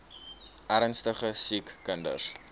ernstige siek kinders